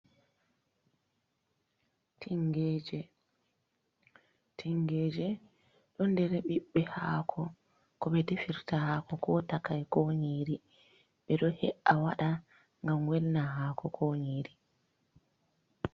Tingeje, Tingeje ɗo ɗer ɓiɓɓe hako ko ɓe defirta hako ko takai ko nyiri ɓeɗo he’a waɗa gam welna hako ko nyiri.